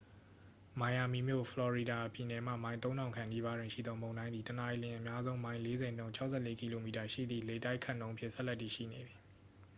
မိုင်ယာမီမြို့၊ ဖလော်ရီဒါပြည်နယ်မှ မိုင် ၃၀၀၀ ခန့်နီးပါးတွင်ရှိသော မုန်တိုင်းသည် တစ်နာရီလျှင် အများဆုံးမိုင် ၄၀ နှုန်း ၆၄ကီလိုမီတာ ရှိသည့် လေတိုက်ခတ်နှုန်းဖြင့် ဆက်လက်တည်ရှိနေသည်။